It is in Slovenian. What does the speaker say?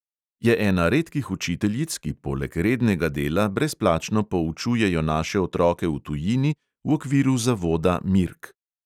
Je ena redkih učiteljic, ki poleg rednega dela brezplačno poučujejo naše otroke v tujini v okviru zavoda mirk.